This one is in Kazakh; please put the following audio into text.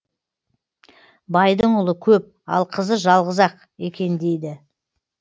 байдың ұлы көп ал қызы жалғыз ақ екен дейді